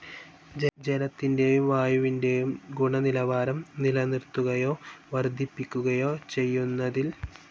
ജലത്തിന്റേയും വായുവിന്റേയും ഗുണനിലവാരം നിലനിർത്തുകയ്യോ വർധിപ്പിക്കുകയോ ചെയ്യുന്നതിൽ